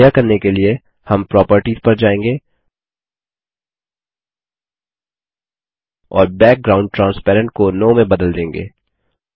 यह करने के लिए हम प्रॉपर्टीज पर जाएँगे और बैकग्राउंड ट्रांसपेरेंट को नो में बदल देंगे